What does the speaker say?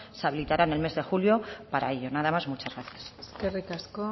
se habilitará en el mes de julio para ello nada más y muchas gracias eskerrik asko